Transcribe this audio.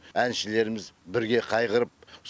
әншілеріміз бірге қайғырып